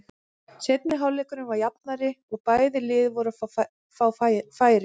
Seinni hálfleikurinn var jafnari og bæði lið voru að fá færi.